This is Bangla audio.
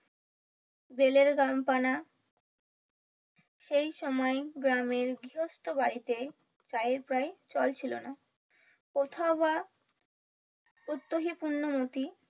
জেলের গান পানা সেই সময় গ্রামের গৃহস্থ বাড়িতে চায়ের প্রায় চল ছিলোনা। কোথাও বা উত্তহি পুন্নমতি,